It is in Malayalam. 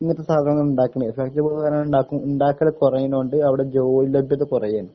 ഇങ്ങനത്തെ സാധനങ്ങളാണിണ്ടാക്കണെ ഇണ്ടാക്കല് കുറയണോണ്ട് അവിടെ ജോലിലബ്‌ദത കുറയാണ്